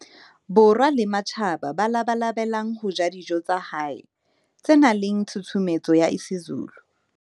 Borwa le ba matjhaba ba labalabelang ho ja dijo tsa hae tse nang le tshusumetso ya isiZulu.